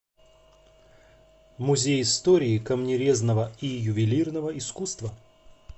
музей истории камнерезного и ювелирного искусства